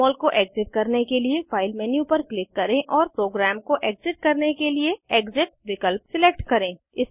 जमोल को एग्ज़िट करने के लिए फाइल मेन्यू पर क्लिक करें और प्रोग्राम को एग्ज़िट करने के लिए एक्सिट विकल्प सिलेक्ट करें